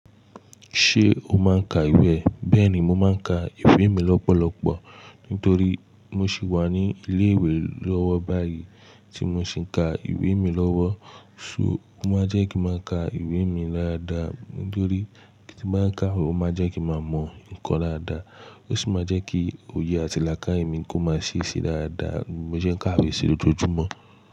Ṣé o máa ń ka ìwé? Bẹ́ẹ̀ni, mo máa ń ka ìwé mi lọ́pọ̀lọpọ̀ nítorí mo sì wà ní ilé ìwé lọ́wọ́ báyìí tí mo sì ń ka ìwé mi lọ́wọ́. So, ó máa jẹ́ kí n máa ka ìwé mi dáadáa nítorí tí n bá ń ka wón, ó máa jẹ́ kí màá mọ ǹkan dáadáa ó sì máa jẹ́ kí òye àtilàkài mi kó máa ṣì ṣí dáadáa, bi mo sẹ́ ń ka ìwé sí lójoojúmọ́.